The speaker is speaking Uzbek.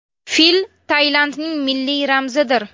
Fil Tailandning milliy ramzidir.